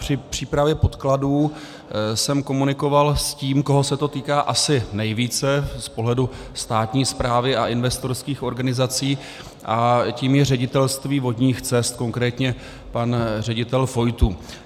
Při přípravě podkladů jsem komunikoval s tím, koho se to týká asi nejvíce z pohledu státní správy a investorských organizací, a tím je Ředitelství vodních cest, konkrétně pan ředitel Fojtů.